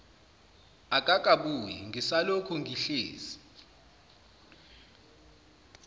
akakabuyi ngisalokhu ngihlezi